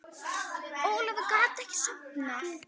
Ólafur gat ekki sofnað.